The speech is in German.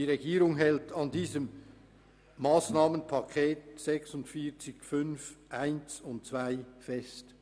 Die Regierung hält an diesem Massnahmenpaket 46.5.1 und 46.5.2 fest.